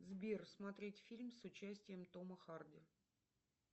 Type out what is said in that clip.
сбер смотреть фильм с участием тома харди